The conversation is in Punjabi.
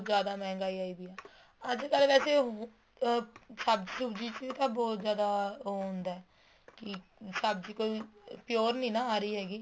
ਜਿਆਦਾ ਮਹਿੰਗਾਈ ਆਈ ਪਈ ਹੈ ਅੱਜ ਕੱਲ ਵੈਸੇ ਅਹ ਸਬਜ਼ੀ ਸੁਬ੍ਜੀ ਚ ਵੀ ਤਾਂ ਬਹੁਤ ਜਿਆਦਾ ਉਹ ਹੁੰਦਾ ਹੈ ਕੀ ਸਬਜ਼ੀ ਕੋਈ pure ਨਹੀਂ ਨਾ ਆ ਰਹੀ ਹੈਗੀ